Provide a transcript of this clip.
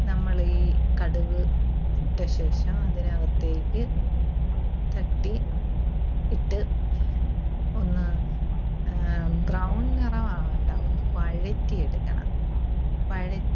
നമ്മള് ഈ കടുക് ഇട്ട ശേഷം അതിനകത്തേക്ക് തട്ടി ഇട്ട് ഒന്ന് ആഹ് brown നിറം ആകണ്ട. ഒന്ന് വഴറ്റിയെടുക്കണം. വഴ~